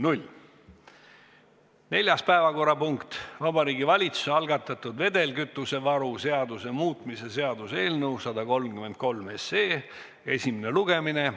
Neljas päevakorrapunkt on Vabariigi Valitsuse algatatud vedelkütusevaru seaduse muutmise seaduse eelnõu 133 esimene lugemine.